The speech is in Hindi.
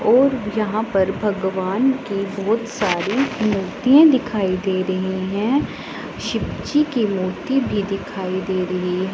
और यहां पर भगवान की बहोत सारी मूर्तियां दिखाई दे रही हैं शिवजी की मूर्ति भी दिखाई दे रही--